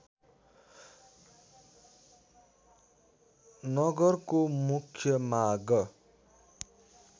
नगरको मुख्य मार्ग